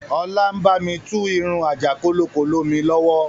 Ọlá ń bami tú irun àjàkólokólo mi lọ́wọ́